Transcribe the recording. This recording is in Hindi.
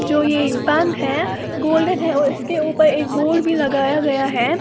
जो ये बंद है गोल्डन है और इसके ऊपर एक बोर्ड भी लगाया गया है।